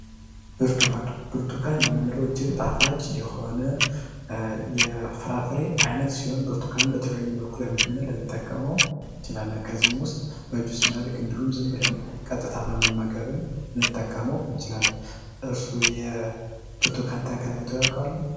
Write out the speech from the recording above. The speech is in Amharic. ብርቱካን ብርቱካን የምንለው እጅግ ጣፋጭ የሆነ የፍራፍሬ ዓይነት ሲሆን ብርቱካን በብዙ መልኩ ለምግብነት ልንጠቀመው እችላለን ከነዚህም ውስጥ በጁስ መልክ ወይም ቀጥታ መመገብ ልንጠቀመው እንችላለን የብርቱካን ተክል አይተው ያውቃሉ?